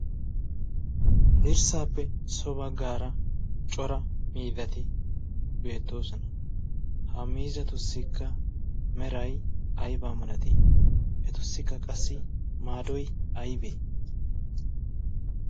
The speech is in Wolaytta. dirssaappe sobaggaara cora miidati beettoosona ha miizatussikka meray aybaa malatiye etussikka qassi maadoy aybee